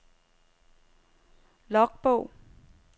logbog